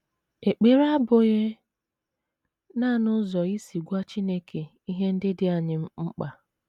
Ekpere abụghị nanị ụzọ isi gwa Chineke ihe ndị dị anyị mkpa.